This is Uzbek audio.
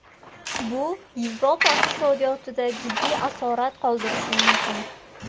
Bu Yevropa iqtisodiyotida jiddiy asorat qoldirishi mumkin.